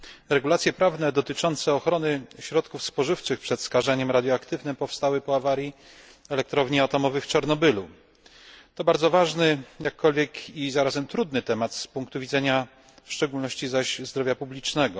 Regulacje prawne dotyczące ochrony środków spożywczych przed skażeniem radioaktywnym powstały po awarii elektrowni atomowej w Czarnobylu. To bardzo ważny jakkolwiek i zarazem trudny temat z punktu widzenia w szczególności zaś zdrowia publicznego.